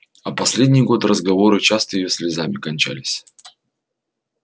а последний год разговоры часто её слезами кончались